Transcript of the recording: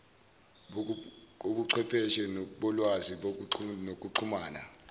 kobuchwepheshe bolwazi nokuxhumana